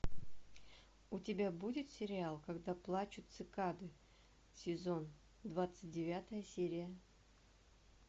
у тебя будет сериал когда плачут цикады сезон двадцать девятая серия